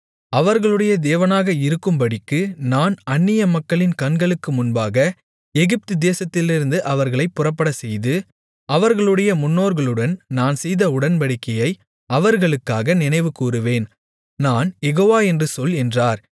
அவர்களுடைய தேவனாக இருக்கும்படிக்கு நான் அன்னிய மக்களின் கண்களுக்கு முன்பாக எகிப்துதேசத்திலிருந்து அவர்களைப் புறப்படச்செய்து அவர்களுடைய முன்னோர்களுடன் நான் செய்த உடன்படிக்கையை அவர்களுக்காக நினைவுகூருவேன் நான் யெகோவா என்று சொல் என்றார்